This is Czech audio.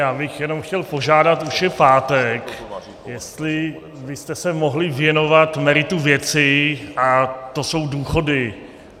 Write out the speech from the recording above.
Já bych jenom chtěl požádat, už je pátek, jestli byste se mohli věnovat meritu věci, a to jsou důchody.